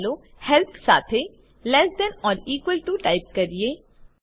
ચાલો હેલ્પ સાથે less than or equal to type કરીએ